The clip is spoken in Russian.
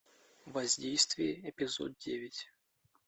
воздействие эпизод девять